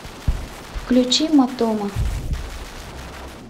включи матома